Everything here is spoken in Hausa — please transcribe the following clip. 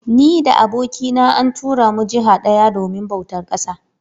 Ni da abokina an tura mu jiha daya domin bautar ƙasa